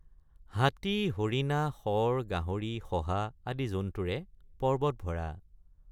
হাতী হৰিণা শৰ গাহৰি শহা আদি জন্তুৰে পৰ্বত ভৰা।